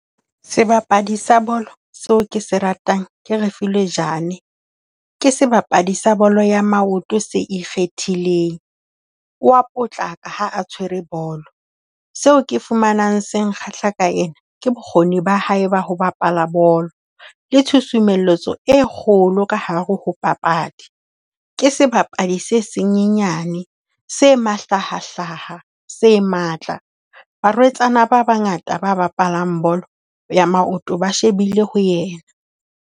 Sebapadi sa bolo seo ke se ratang ke Refiloe Jane. Ke sebapadi sa bolo ya maoto se ikgethileng. O a potlaka ha a tshwere bolo. Seo ke fumanang se kgahla ka ena, ke bokgoni ba hae ba ho bapala bolo le tshusumeletso e kgolo ka hare ho papadi. Ke sebapadi se se nyenyane se mahlahahlaha, se matla. Barwetsana ba bangata ba bapalang bolo ya maoto ba shebile ho yena.